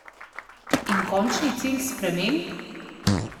In končni cilj sprememb?